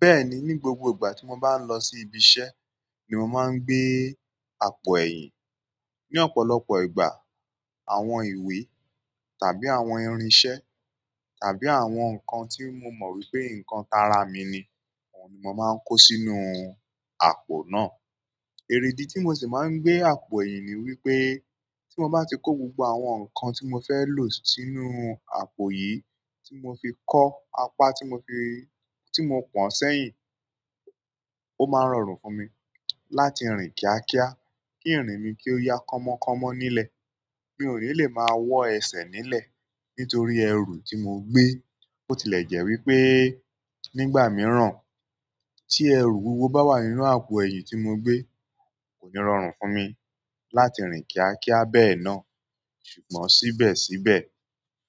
Bẹ́ẹ̀ni, ní gbogbo ìgbà tí mo bá ń lọ sí ibi iṣẹ́ ni mo máa ń gbé àpò ẹ̀yìn. Ni ọ̀pọ̀lọpọ̀ ìgbà, àwọn ìwé tàbí àwọn irinṣẹ́ tàbí àwọn nǹkan tí mo mọ̀ wípé nǹkan t ara mi ni òun ni mo máa ń kó sínú àpò náà. Èredí tí mo sì máa ń gbé àpò yìí ni wípé tí mo bá ti kó gbogbo àwọn nǹkan tí mo fẹ́ lò sínú àpò yìí tí mo fi kọ́ apá tí mo fi-- tí mo pọ̀n sẹ́yìn, ó máa rọrùn fún mi láti rìn kíákíá, kí ìrìn mi kí ó ya kọmọkọmọ nílẹ̀. Mi ò ní lè máa wọ ẹsẹ̀ nílẹ̀ nítorí ẹrù tí mo gbé. Ó tilẹ̀ jẹ́ wípé nígbà mìíràn tí ẹrù wuwo bá wà nínú àpò ẹ̀yìn tí mo gbé, kò ní rọrùn fún mi láti rìn kíákíá bẹ́ẹ̀ náà. Ṣùgbọ́n síbẹ̀síbẹ̀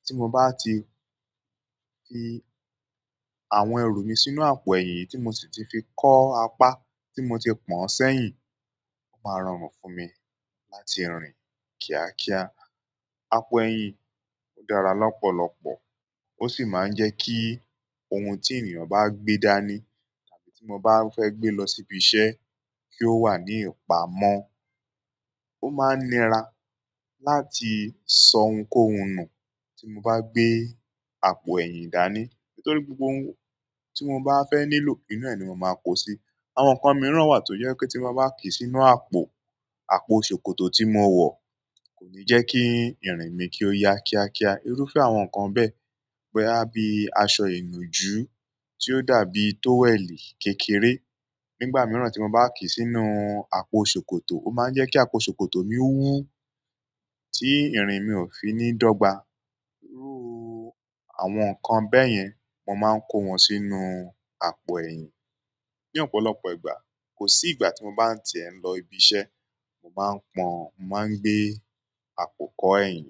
tí mo bá ti fi àwọn ẹrú mi sínú àpò ẹ̀yìn tí mo sì ti fi kọ́ apá tí mo ti pọ̀n sẹ́yìn, ó máa rọrùn fún mi láti rìn kíákíá. Àpò ẹ̀yìn dára lọ́pọ̀lọpọ̀ ó sì máa ń jẹ́ kí ohun tí ènìyàn bá gbé dání tàbí tí mo bá fẹ́ gbé lọ sí ibi iṣẹ́ kí ó wà ní ìpamọ́. Ó máa nira láti sọ ohunkóhun nù tí mo bá gbé àpò ẹ̀yìn dání nítorí gbogbo ohun tí mo bá fẹ́ nílò nínú ẹ̀ ni mo máa kó síi. Àwọn nǹkan mìíràn wà tó jẹ́ kí tí mo bá kí sínú àpò, àpò ṣòkòtò tí mo wọ̀ kò ní jẹ́ kí ìrìn mi kí ó ya kíákíá. Irúfẹ́ àwọn nkan be boya bi aṣọ inuju tio dàbí toweli kékeré. Nígbà mìíràn tí mo bá kí sínú àpò ṣòkòtò, ó máa ń jẹ́ kí àpò ṣòkòtò mi wú tí ìrìn mi ò fi ní dọ́gba. Irú àwọn nǹkan bẹ́ẹ̀ yẹn mo máa ń kó wọn sínú àpò ẹ̀yìn. Ni ọ̀pọ̀lọpọ̀ ìgbà, kò sí ìgbà tí mo bá ń tẹ̀ ń lọ ibi iṣẹ́ mo máa ń pọn, màá gbé àpò kọ́ ẹ̀yìn.